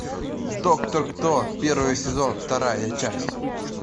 доктор кто первый сезон вторая часть